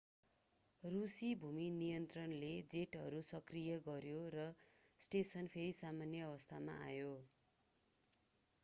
रूसी भूमि नियन्त्रणले जेटहरू सक्रिय गर्‍यो र स्टेसन फेरि सामान्य अवस्थामा आयो।